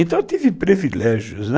Então, eu tive privilégios, né.